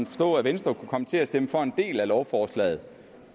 forstå at venstre kunne komme til at stemme for en del af lovforslaget